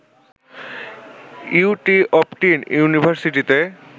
UT অপটিন ইউনিভারসিটিতে